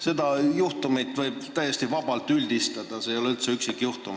Seda juhtumit võib täiesti vabalt üldistada, see ei ole üldse üksikjuhtum.